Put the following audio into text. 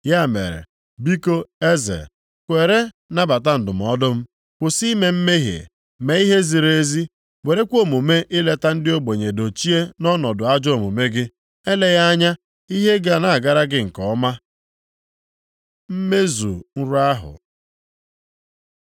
Ya mere, biko eze, kweere nabata ndụmọdụ m, kwụsị ime mmehie, mee ihe ziri ezi, werekwa omume ileta ndị ogbenye dochie nʼọnọdụ ajọ omume gị. Eleghị anya, ihe ga na-agara gị nke ọma.” Mmezu nrọ ahụ